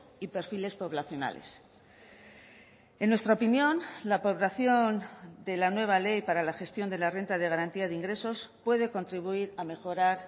y perfiles poblacionales en nuestra opinión la población de la nueva ley para la gestión de la renta de garantía de ingresos puede contribuir a mejorar